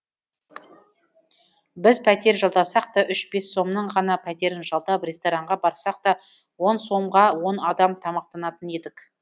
біз пәтер жалдасақ та үш бес сомның ғана пәтерін жалдап ресторанға барсақ та он сомға он адам тамақтанатын едік